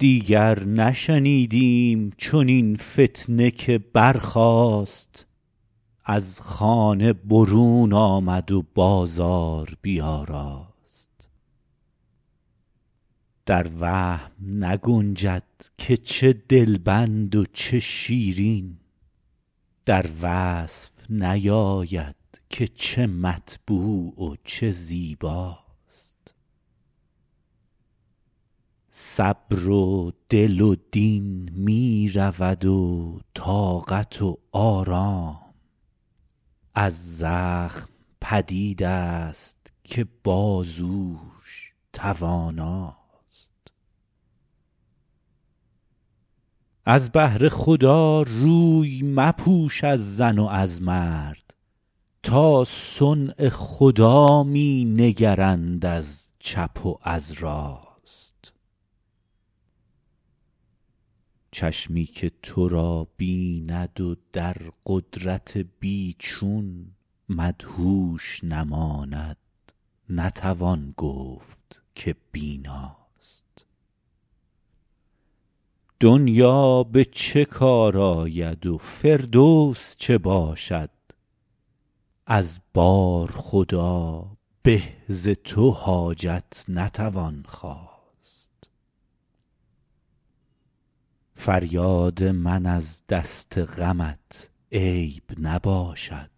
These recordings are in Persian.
دیگر نشنیدیم چنین فتنه که برخاست از خانه برون آمد و بازار بیاراست در وهم نگنجد که چه دلبند و چه شیرین در وصف نیاید که چه مطبوع و چه زیباست صبر و دل و دین می رود و طاقت و آرام از زخم پدید است که بازوش تواناست از بهر خدا روی مپوش از زن و از مرد تا صنع خدا می نگرند از چپ و از راست چشمی که تو را بیند و در قدرت بی چون مدهوش نماند نتوان گفت که بیناست دنیا به چه کار آید و فردوس چه باشد از بارخدا به ز تو حاجت نتوان خواست فریاد من از دست غمت عیب نباشد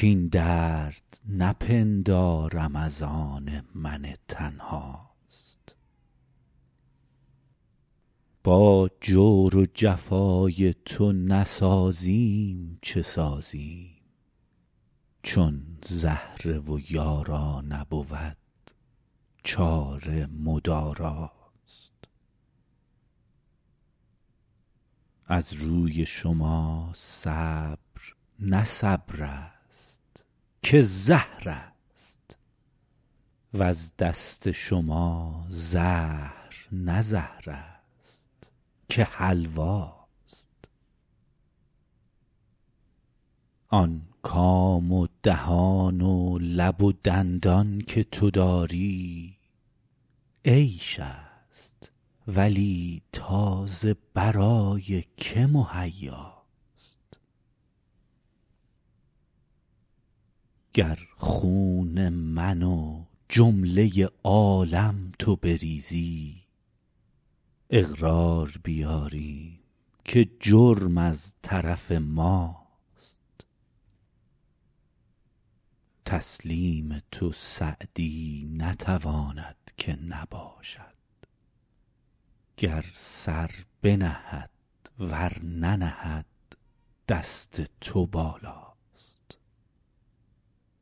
کاین درد نپندارم از آن من تنهاست با جور و جفای تو نسازیم چه سازیم چون زهره و یارا نبود چاره مداراست از روی شما صبر نه صبر است که زهر است وز دست شما زهر نه زهر است که حلواست آن کام و دهان و لب و دندان که تو داری عیش است ولی تا ز برای که مهیاست گر خون من و جمله عالم تو بریزی اقرار بیاریم که جرم از طرف ماست تسلیم تو سعدی نتواند که نباشد گر سر بنهد ور ننهد دست تو بالاست